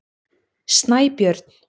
Snæbjörn